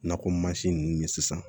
Nakɔ mansin ninnu ye sisan